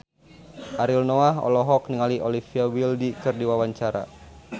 Ariel Noah olohok ningali Olivia Wilde keur diwawancara